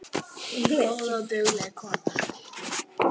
Góð og dugleg kona